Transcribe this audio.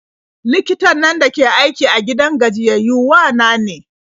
Likitan nan dake aiki a gidan gajiyayyau wa na ne.